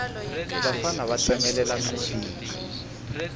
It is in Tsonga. vafana va tsemelela minsinya